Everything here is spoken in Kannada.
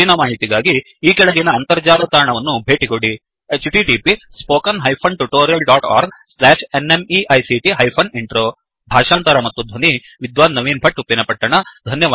ಹೆಚ್ಚಿನ ಮಾಹಿತಿಗಾಗಿ ಈ ಕೆಳಗಿನ ಅಂತರ್ಜಾಲ ತಾಣವನ್ನು ಭೇಟಿಕೊಡಿ httpspoken tutorialorgNMEICT Intro ಭಾಷಾಂತರ ಮತ್ತು ಧ್ವನಿ ವಿದ್ವಾನ್ ನವೀನ್ ಭಟ್ ಉಪ್ಪಿನಪಟ್ಟಣ